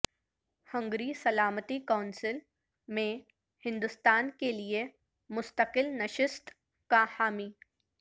Hungary سلامتی council میں ہندوستان کیلئے مستقل نشست کا حامی